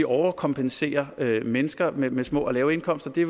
overkompenserer mennesker med med små lave indkomster det